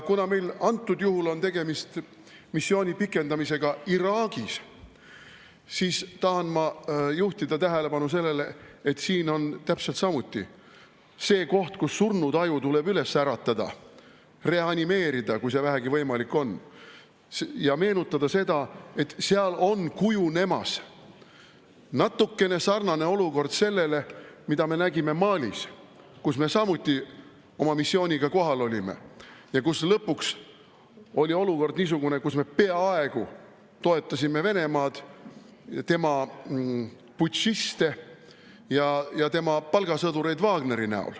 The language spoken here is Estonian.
Kuna meil antud juhul on tegemist missiooni pikendamisega Iraagis, siis tahan ma juhtida tähelepanu sellele, et siin on täpselt samuti see koht, kus surnud aju tuleb üles äratada, reanimeerida, kui see vähegi võimalik on, ja meenutada seda, et seal on kujunemas natukene sarnane olukord sellele, mida me nägime Malis, kus me samuti oma missiooniga kohal olime ja kus lõpuks oli olukord niisugune, et me peaaegu toetasime Venemaad, tema putšiste ja tema Wagneri palgasõdureid.